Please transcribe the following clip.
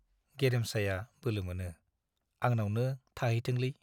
गेरेमसाया बोलोमोनो, आंनावनो थाहैथोंलै।